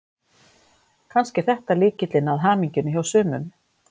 Kannski er þetta lykillinn að hamingjunni hjá sumum.